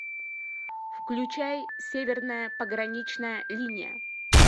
включай северная пограничная линия